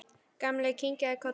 Gamli kinkaði kolli.